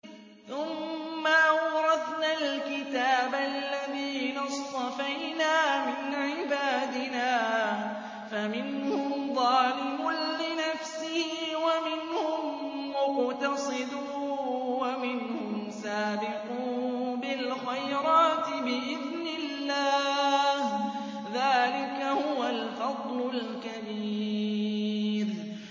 ثُمَّ أَوْرَثْنَا الْكِتَابَ الَّذِينَ اصْطَفَيْنَا مِنْ عِبَادِنَا ۖ فَمِنْهُمْ ظَالِمٌ لِّنَفْسِهِ وَمِنْهُم مُّقْتَصِدٌ وَمِنْهُمْ سَابِقٌ بِالْخَيْرَاتِ بِإِذْنِ اللَّهِ ۚ ذَٰلِكَ هُوَ الْفَضْلُ الْكَبِيرُ